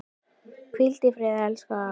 Hvíld í friði, elsku afi.